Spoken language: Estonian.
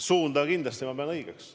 Suunda ma kindlasti pean õigeks.